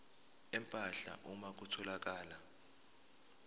empahla uma kutholakala